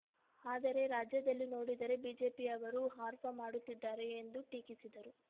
ಆದರೆ ರಾಜ್ಯದಲ್ಲಿ ನೋಡಿದರೆ ಬಿಜೆಪಿಯವರು ಹರ್ಪ ಮಾಡುತ್ತಿದ್ದಾರೆ ಎಂದು ಟೀಕಿಸಿದರು